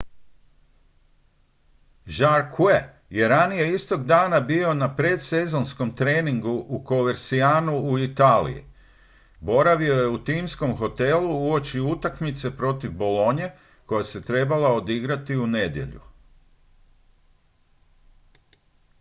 jarque je ranije istog dana bio na predsezonskom treningu u covercianu u italiji boravio je u timskom hotelu uoči utakmice protiv bologne koja se trebala odigrati u nedjelju